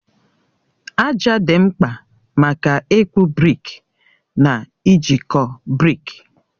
Aja dị mkpa maka ịkpụ brikị na ijikọ brikị.